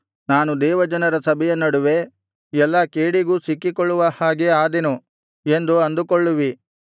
ನಾನು ದೇವಜನರ ಸಭೆಯ ನಡುವೆ ಎಲ್ಲಾ ಕೇಡಿಗೂ ಸಿಕ್ಕಿಕೊಳ್ಳುವ ಹಾಗೆ ಆದೆನು ಎಂದು ಅಂದುಕೊಳ್ಳುವಿ